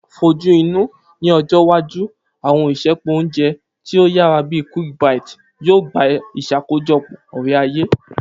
Fojuinu, ni ọjọ iwaju, àwọn isẹpo ounjẹ ti o yara bi Quick Bite yoo gba iṣakojọpọ ore-aye.